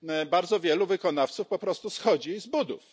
Bardzo wielu wykonawców po prostu schodzi z budów.